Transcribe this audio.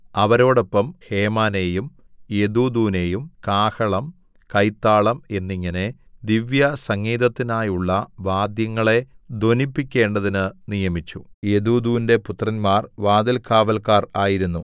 അവരോടൊപ്പം ഹേമാനെയും യെദൂഥൂനെയും കാഹളം കൈത്താളം എന്നിങ്ങനെ ദിവ്യസംഗീതത്തിനായുള്ള വാദ്യങ്ങളെ ധ്വനിപ്പിക്കേണ്ടതിന് നിയമിച്ചു യെദൂഥൂന്റെ പുത്രന്മാർ വാതിൽകാവല്ക്കാർ ആയിരുന്നു